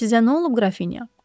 Sizə nə olub, Qrafinya?